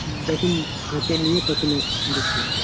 যখন হাতে নিই তখন আর এক দেখছি,